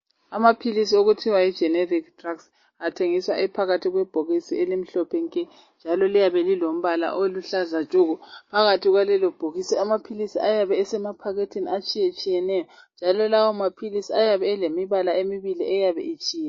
Amaphilisi okuthiwa yiGeneric drug, athengiswa ephakathi kwebhokisi elimhlophe nke, njalo liyabe lilombala oluhlaza tshoko! Phakathi kwalelobhokisi amaphilisi ayabe esemaphaketheni ,atshiyetshiyeneyo, njalo lawomaphilisi ayabe elemibala emibili. eyabe itshiyene.